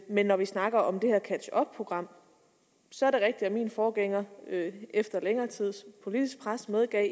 men når vi snakker om det her catch up program så er det rigtigt at min forgænger efter længere tids politisk pres medgav at